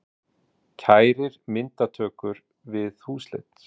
Kærir myndatökur við húsleit